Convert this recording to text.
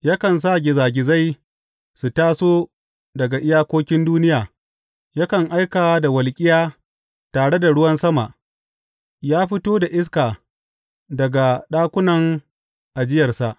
Yakan sa gizagizai su taso daga iyakokin duniya; yakan aika da walƙiya tare da ruwan sama ya fito da iska daga ɗakunan ajiyarsa.